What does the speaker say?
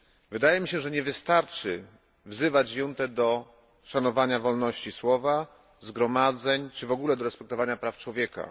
Wydaje mi się, że nie wystarczy wzywać juntę do szanowania wolności słowa, zgromadzeń czy w ogóle do respektowania praw człowieka.